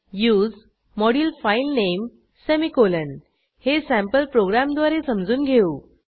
उसे module file name semicolon हे sample प्रोग्रॅमद्वारे समजून घेऊ